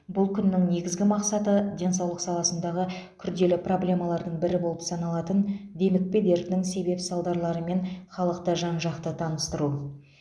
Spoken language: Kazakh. бұл күннің негізгі мақсаты денсаулық саласындағы күрделі проблемалардың бірі болып саналатын демікпе дертінің себеп салдарларымен халықты жан жақты таныстыру